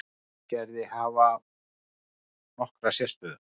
Hveragerði, hafa nokkra sérstöðu.